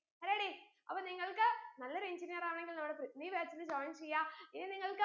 ready അപ്പൊ നിങ്ങൾക്ക് നല്ലൊരു engineer ആവണമെങ്കിൽ നമ്മടെ പൃഥ്വി batch ന് join ചെയ്യാ ഇത് നിങ്ങൾക്ക്